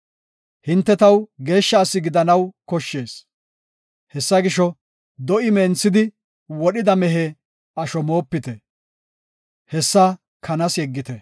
“Hinte taw geeshsha asi gidanaw koshshees. Hessa gisho, do7i menthidi wodhida mehe asho moopite; hessa kanas yeggite.”